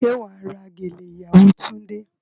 Ṣé wà á ra gèlè ìyàwó Túndé?